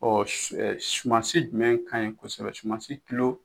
Ɔ su ɛ sumansi jumɛn kaɲi kosɛbɛ sumansi tilo